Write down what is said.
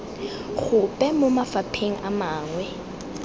gope mo mafapheng a mangwe